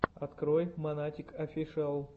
открой монатик офишиал